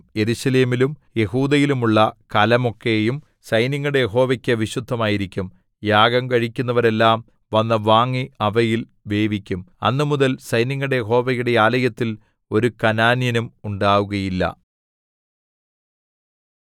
യെരൂശലേമിലും യെഹൂദയിലും ഉള്ള കലമൊക്കെയും സൈന്യങ്ങളുടെ യഹോവയ്ക്കു വിശുദ്ധമായിരിക്കും യാഗം കഴിക്കുന്നവരെല്ലാം വന്നു വാങ്ങി അവയിൽ വേവിക്കും അന്നുമുതൽ സൈന്യങ്ങളുടെ യഹോവയുടെ ആലയത്തിൽ ഒരു കനാന്യനും ഉണ്ടാകുകയില്ല